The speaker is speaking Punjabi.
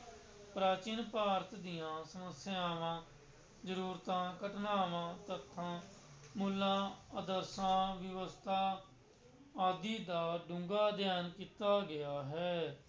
ਪ੍ਰਾਚੀਨ ਭਾਰਤ ਦੀਆਂ ਸਮੱਸਿਆਵਾਂ, ਜ਼ਰੂਰਤਾਂ, ਘਟਨਾਵਾਂ, ਤੱਥਾਂ, ਮੁੱਲਾਂ, ਆਦਰਸ਼ਾਂ, ਵਿਵਸਥਾ ਆਦਿ ਦਾ ਡੂੰਘਾ ਅਧਿਐਨ ਕੀਤਾ ਗਿਆ ਹੈ।